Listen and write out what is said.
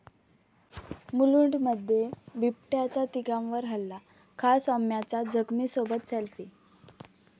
मुलुंडमध्ये बिबट्याचा तिघांवर हल्ला, खा. सोमय्यांचा जखमीसोबत सेल्फी!